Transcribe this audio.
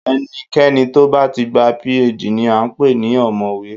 Ẹnikẹni tó bá ti gba PhD ni à ń pè ní ọ̀mọ̀wé